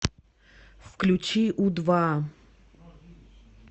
включи у два